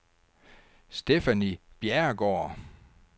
Stephanie Bjerregaard